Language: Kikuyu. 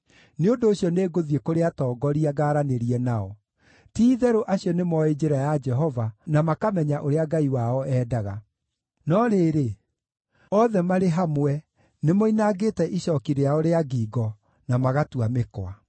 Nĩ ũndũ ũcio nĩngũthiĩ kũrĩ atongoria ngaaranĩrie nao; ti-itherũ acio nĩmoĩ njĩra ya Jehova, na makamenya ũrĩa Ngai wao endaga.” No rĩrĩ, othe marĩ hamwe, nĩmoinangĩte icooki rĩao rĩa ngingo, na magatua mĩkwa.